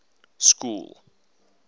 school